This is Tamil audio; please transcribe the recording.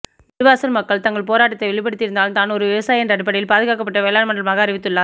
நெடுவாசல் மக்கள் தங்கள் போராட்டத்தை வெளிப்படுத்தி இருந்தாலும் தான் ஒரு விவசாயி என்ற அடிப்படையில் பாதுகாக்கப்பட்ட வேளாண் மண்டலமாக அறிவித்துள்ளார்